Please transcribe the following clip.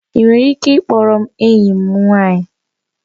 Ị nwere ike ị kpọọrọ m enyi m nwanyị?